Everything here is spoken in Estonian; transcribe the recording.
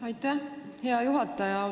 Aitäh, hea juhataja!